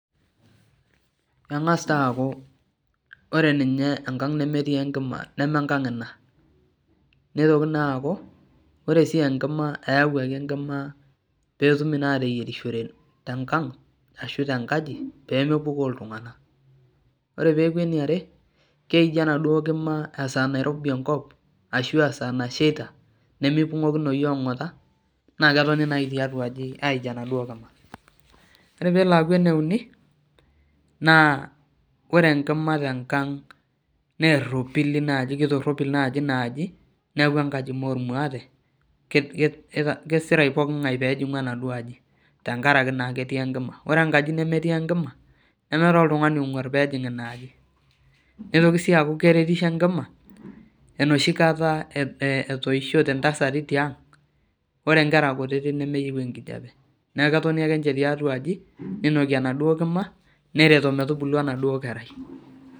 Keng'as taa aaku ore enkang nemeetii enkima mee enkang ina neitoki naa aaku ore enkima eeuaki enkima peetumi naaa aaateyierishore tenkang ashu tenkaji peemepukoo iltung'anak ore peeku eniare keiji enaduo kima eaaa Nairobi enkop esaa nashaita nemeipung'okinoyu ong'ata aij enaduo kima ore peelo aaaku eneuni naa ore enkima tenkang naa eropili keitoropil naaji inaaji neeku enkaji mee ormuate kesira pooking'ae peejing'u enaduo aji tenkaraki naa ketii enkima ore enkaji nemetii enkima nemeetai oltung'ani ong'uar peejing inaaji neitoki sii aku keretisho enkima enoshi kata etoishote intasati tiang ore inkera kutitik nemeyieu enkijiape neeku ketoni akeninche taituaji neinoki enaduo kima neton emetubulu enaduo kerai